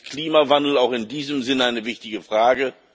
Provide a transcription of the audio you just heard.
Und deswegen ist Klimawandel auch in diesem Sinn eine wichtige Frage.